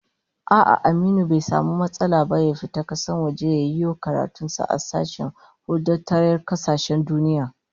A'a, Aminu bai samu matsala ba ya fita wajen kasa ya yiwo karatun sa a sashen huldatayyar kasashen duniya